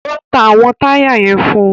O ta awọn taya yẹn fún